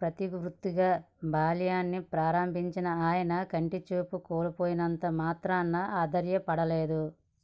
ప్రవృత్తిగా బాల్యాన్ని ప్రారంభించిన ఆయన కంటి చూపు కోల్పోయినంత మాత్రాన అధైర్యపడలేదు